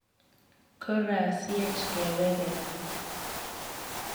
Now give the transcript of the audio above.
korasyech keweke gaa.